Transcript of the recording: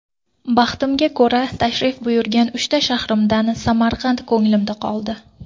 Baxtimga ko‘ra tashrif buyurgan uchta shahrimdan, Samarqand ko‘nglimda qoldi.